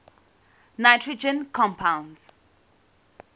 nitrogen compounds